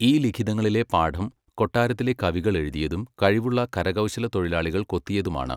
ഈ ലിഖിതങ്ങളിലെ പാഠം കൊട്ടാരത്തിലെ കവികൾ എഴുതിയതും കഴിവുള്ള കരകൗശലത്തൊഴിലാളികൾ കൊത്തിയതുമാണ്.